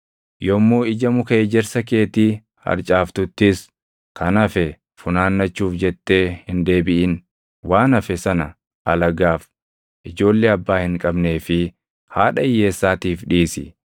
Yommuu ija muka ejersa keetii harcaaftuttis kan hafe funaannachuuf jettee hin deebiʼin; waan hafe sana alagaaf, ijoollee abbaa hin qabnee fi haadha hiyyeessaatiif dhiisi.